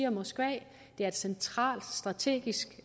og moskva det er et centralt strategisk